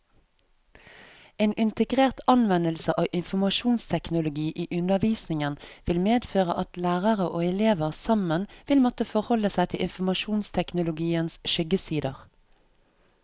En integrert anvendelse av informasjonsteknologi i undervisningen vil medføre at lærere og elever sammen vil måtte forholde seg til informasjonsteknologiens skyggesider.